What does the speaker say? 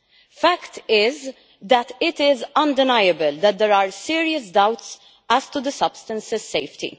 The fact is, that it is undeniable that there are serious doubts as to the substance's safety.